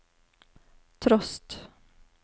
trost